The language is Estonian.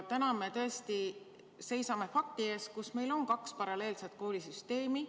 Täna me tõesti seisame fakti ees, et meil on kaks paralleelset koolisüsteemi.